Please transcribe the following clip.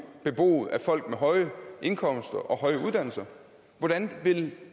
beboet af folk med høje indkomster og høje uddannelser hvordan vil